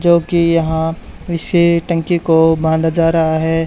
जो कि यहां इसे टंकी को बंधा जा रहा है।